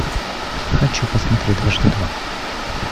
хочу посмотреть дважды два